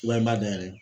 Walima dayɛlɛ